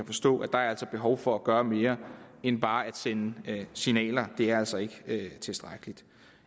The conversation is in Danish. forstå at der er behov for at gøre mere end bare at sende signaler det er altså ikke tilstrækkeligt